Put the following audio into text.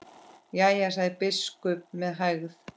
Jæja, sagði biskup með hægð.